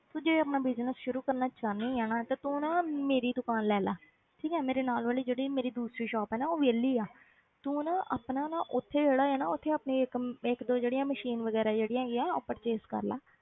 ਤੂੰ ਜੇ ਆਪਣਾ business ਸ਼ੁਰੂ ਕਰਨਾ ਚਾਹੁੰਦੀ ਆਂ ਨਾ ਤੇ ਤੂੰ ਨਾ ਮੇਰੀ ਦੁਕਾਨ ਲੈ ਲਾ ਠੀਕ ਹੈ ਮੇਰੇ ਨਾਲ ਵਾਲੀ ਜਿਹੜੀ ਮੇਰੀ ਦੂਸਰੀ shop ਹੈ ਨਾ ਉਹ ਵਿਹਲੀ ਹੈ ਤੂੰ ਨਾ ਆਪਣਾ ਨਾ ਉੱਥੇ ਜਿਹੜਾ ਹੈ ਨਾ ਉੱਥੇ ਆਪਣੀ ਇੱਕ ਅਮ ਇੱਕ ਦੋ ਜਿਹੜੀਆਂ machine ਵਗ਼ੈਰਾ ਜਿਹੜੀਆਂ ਹੈਗੀਆਂ ਉਹ purchase ਕਰ ਲੈ,